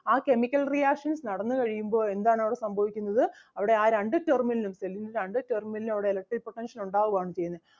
ആ chemical reactions നടന്നു കഴിയുമ്പോൾ എന്താണ് അവിടെ സംഭവിക്കുന്നത് അവിടെ ആ രണ്ട് terminal ഉം cell ൻ്റെ രണ്ട് terminal ലിലും അവിടെ electric potential ഉണ്ടാവുക ആണ് ചെയ്യുന്നത്.